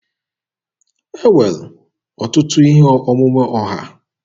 E nwere ọtụtụ ihe omume ọha.